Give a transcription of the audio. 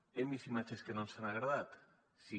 hem vist imatges que no ens han agradat sí